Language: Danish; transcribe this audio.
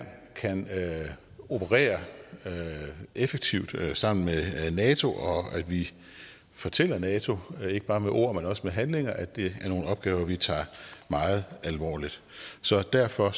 kan operere effektivt sammen med nato og at vi fortæller nato ikke bare med ord men også med handlinger at det er nogle opgaver vi tager meget alvorligt så derfor